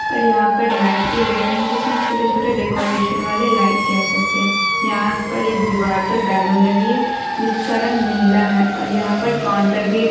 और यहाँ पर लाईट लग भी लगी हुयी है जिसमे छोटे-छोटे डेकोरेशन वाले लाईट कह सकते है यहाँ पर एक दीवाल पर बैलून लगी हुयी है जिसका रंग नीला है और यहां पर काउंटर पर भी एक--